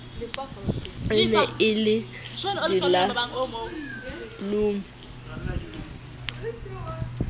e ne e le dilalome